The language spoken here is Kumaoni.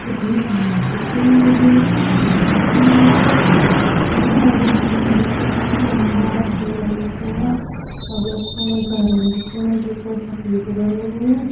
यखम घाम दिखेण लग्युं घमा ओण लग्युं खम्बान बिजली का खम्बा तार तूर दिखेणा अर यख फण घरन दिखेणा जू पर सफ़ेद रंग होयुं।